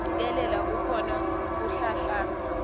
kucikelela kukhona kuhlanhlatsa